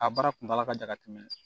A baara kuntala ka jan ka tɛmɛ